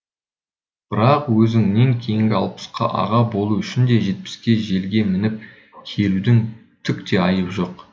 бірақ өзіңнен кейінгі алпысқа аға болу үшін де жетпіске желге мініп келудің түк те айыбы жоқ